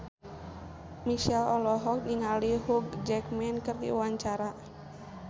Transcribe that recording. Marchell olohok ningali Hugh Jackman keur diwawancara